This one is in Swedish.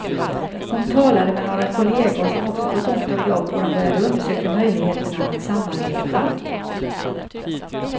Hon talade med några kollegor som också fått ont om jobb och de började undersöka möjligheterna att samarbeta.